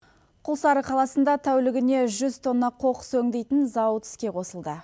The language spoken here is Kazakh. құлсары қаласында тәулігіне жүз тонна қоқыс өңдейтін зауыт іске қосылды